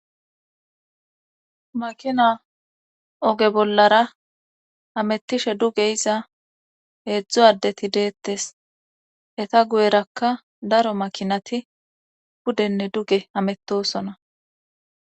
makina oge bollara amettishe duge iza heedzdzo addeti deettes eta guyerakka daro makinati pudenne duge amettosona